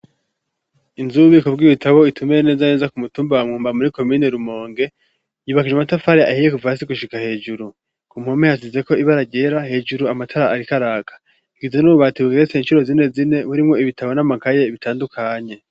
Inzu y'ububiko bw'ibitabo itumbereye neza na neza ku mutumba wa Mwumba, muri komine Rumonge, yubakishje amatafari ahiye kuva hasi gushika hejuru. ku mpome hasizeko ibara ryera, hejuru amatara ariko araka. Hagizwe n'ububati bugeretse incuro zine zine, burimwo ibitabo n'amakaye bitandukanye.